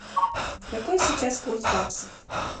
какой сейчас курс баксов